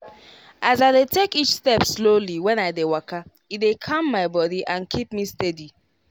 as i dey take each step slowly when i dey waka e dey calm my body and keep me steady.